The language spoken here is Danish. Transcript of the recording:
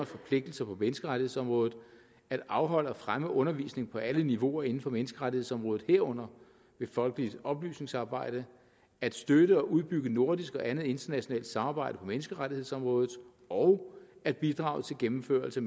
forpligtelser på menneskerettighedsområdet at afholde og fremme undervisning på alle niveauer inden for menneskerettighedsområdet herunder et folkeligt oplysningsarbejde at støtte og udbygge nordisk og andet internationalt samarbejde på menneskerettighedsområdet og at bidrage til gennemførelse